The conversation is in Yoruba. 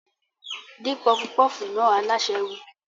Dín pọfupọ́fù náà! Alásè wí.